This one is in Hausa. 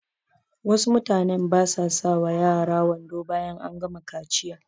Wasu mutanen basa sa wa yara wando bayan an gama kaciya